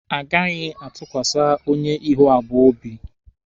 A gaghị atụkwasa onye ihu abụọ obi.